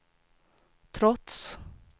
trots